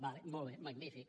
d’acord molt bé magnífic